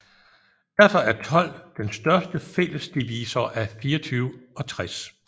Derfor er 12 den største fælles divisor af 24 og 60